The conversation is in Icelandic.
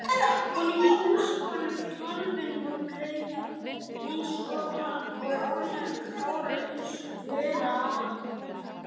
Holur hnúskóttur kálfinn var bleikur eins og almennilegir kálfar eiga að vera